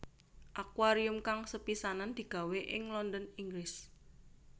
Akuarium kang sepisanan digawé ing London Inggris